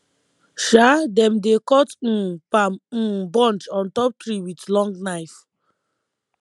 um dem dey cut um palm um bunch on top tree with long knife